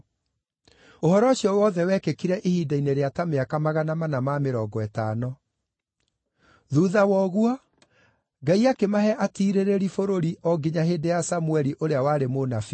Ũhoro ũcio wothe wekĩkire ihinda-inĩ rĩa ta mĩaka magana mana ma mĩrongo ĩtano. “Thuutha wa ũguo, Ngai akĩmahe atiirĩrĩri bũrũri o nginya hĩndĩ ya Samũeli ũrĩa warĩ mũnabii.